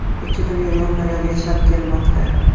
Ikki dunyo yonma-yon yashab kelmoqda.